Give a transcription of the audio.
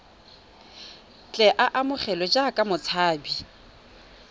tle a amogelwe jaaka motshabi